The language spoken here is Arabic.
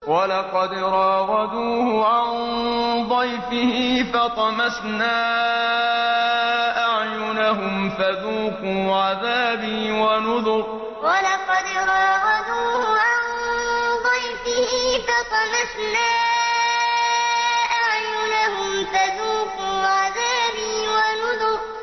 وَلَقَدْ رَاوَدُوهُ عَن ضَيْفِهِ فَطَمَسْنَا أَعْيُنَهُمْ فَذُوقُوا عَذَابِي وَنُذُرِ وَلَقَدْ رَاوَدُوهُ عَن ضَيْفِهِ فَطَمَسْنَا أَعْيُنَهُمْ فَذُوقُوا عَذَابِي وَنُذُرِ